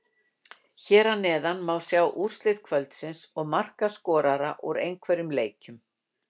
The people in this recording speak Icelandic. Hér að neðan má sjá úrslit kvöldsins og markaskorara úr einhverjum leikjum.